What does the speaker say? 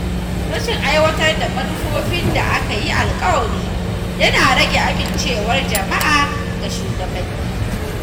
Rashin aiwatar da manufofin da aka yi alƙawari yana rage amincewar jama’a ga shugabanni.